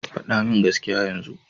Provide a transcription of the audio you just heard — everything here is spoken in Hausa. Faɗa min gaskiya yanzu!